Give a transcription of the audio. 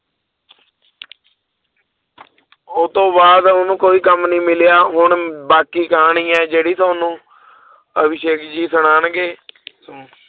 ਉਹ ਤੋਂ ਬਾਅਦ ਉਹਨੂੰ ਕੋਈ ਕੰਮ ਨੀ ਮਿਲਿਆ ਹੁਣ ਬਾਕੀ ਕਹਾਣੀ ਹੈ ਜਿਹੜੀ ਤੁਹਾਨੂੰ ਅਭਿਸ਼ੇਕ ਜੀ ਸੁਣਾਉਂਗੇ ਸੁਣੋ।